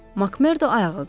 MakMerdo ayağa qalxdı.